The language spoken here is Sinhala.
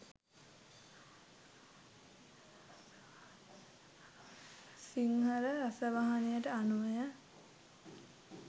සිංහල රසවාහිනියට අනුවය.